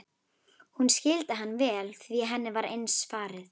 Hún skildi hann vel því henni var eins farið.